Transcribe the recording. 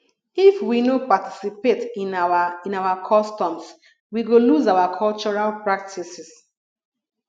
if we no participate in our in our customs we go lose our cultural practices